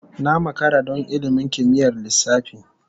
Na makara don ilimin kimiyyar lissafi.